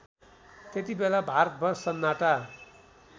त्यतिबेला भारतभर सन्नाटा